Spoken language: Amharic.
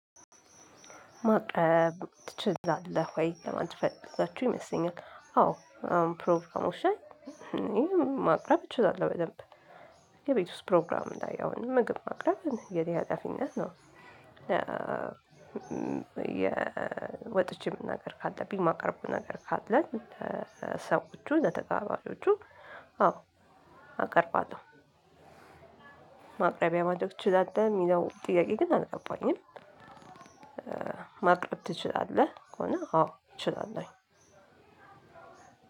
ማቅረብ ትችላለህ ወይ? ለማለት ፈልጋችሁ ይመስለኛል አዎ አሁን ፕሮቭ ውሻን። ማቅረብ እችላለሁ በደንብ። የቤት ውስጥ ፕሮግራም ላይ የሆነ ነገር ማቅረብ የኔ ሀላፊነት ነው። ወጥቼ መናገር ካለብኝ ማቅረብ ነገር ካለን ለሰዎቹ ለተጋባዥዎቹ አዎ አቀርባለሁ። ማቅረቢያ ማቅረብ ትችላለህ የሚለው ጥያቄ ግን አልገባኝም። ማቅረብ ትችላለህ ከሆነ አዎ እችላለሁ።